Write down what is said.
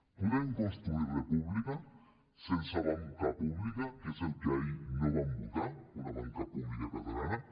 podem construir república sense banca pública que és el que ahir no van votar una banca pública catalana